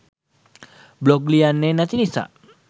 blog ලියන්නෙ නැති නිසා